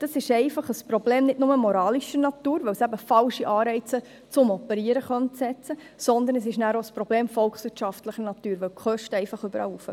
Das ist nicht nur ein Problem moralischer Natur, weil es falsche Anreize zum Operieren setzen könnte, sondern es ist auch ein volkswirtschaftliches Problem, weil die Kosten überall steigen.